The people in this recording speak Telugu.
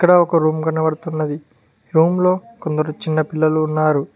ఇక్కడ ఒక రూమ్ కనబడుతున్నది రూమ్ లో కొందరు చిన్న పిల్లలు ఉన్నారు.